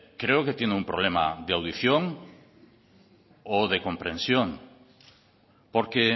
creo que tiene un problema de audición o de comprensión porque